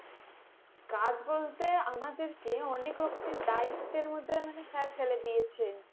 কাজ বলতে আমাদেরকে অনেক রকমের দায়িত্বের মধ্যে মানে Sir ফেলে দিয়েছেন